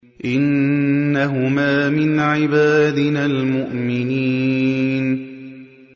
إِنَّهُمَا مِنْ عِبَادِنَا الْمُؤْمِنِينَ